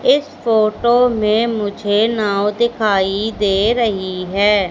इस फोटो मे मुझे नाव दिखाई दे रही है।